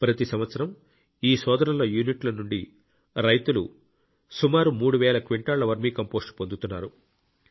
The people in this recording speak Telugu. ప్రతి సంవత్సరం ఈ సోదరుల యూనిట్ల నుండి రైతులు సుమారు మూడు వేల క్వింటాళ్ల వర్మీ కంపోస్ట్ పొందుతున్నారు